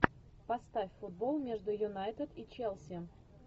поставь футбол между юнайтед и челси